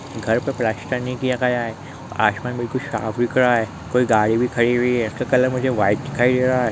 घर पे प्लास्टर नहीं किया गया है आसमान बिल्कुल साफ दिख रहा है कोई गाड़ी भी खड़ी हुई है इसका कलर मुझे वाइट दिखाई दे रहा है।